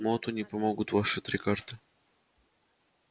моту не помогут ваши три карты